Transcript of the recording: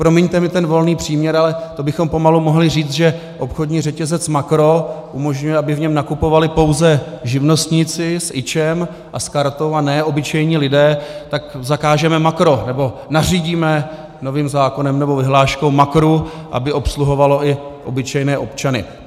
Promiňte mi ten volný příměr, ale to bychom pomalu mohli říci, že obchodní řetězec Makro umožňuje, aby v něm nakupovali pouze živnostníci s IČO a s kartou a ne obyčejní lidé, tak zakážeme Makro nebo nařídíme novým zákonem nebo vyhláškou Makru, aby obsluhovalo i obyčejné občany.